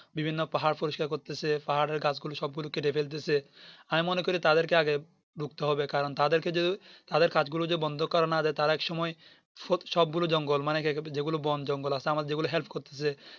বিভিন্ন পাহাড় পরিষ্কার করতেছে পাহাড়ের গাছ গুলো সব গুলো কেটে ফেলতেছে আমি মনে করি তাদের কে আগে রুখতে হবে কারণ তাদেরকে যদি তাদের কাজগুলো যদি বন্ধ করা না যাই তারা এক সময় সব গুলো জঙ্গল মানে যে গুলো বোন জঙ্গল আছে আমার যে গুলো Help করতেছে